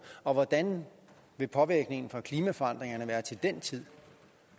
og hvordan vil påvirkningerne fra klimaforandringerne være til den tid